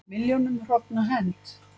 Milljónum hrogna hent